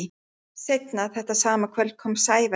Seinna þetta sama kvöld kom Sævar heim.